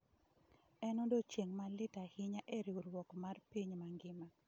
"En odiechieng' ma lit ahinya e riwruok mar piny mangima"